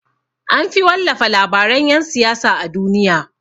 Anfi wallafa labaran yan siyasa a duniya.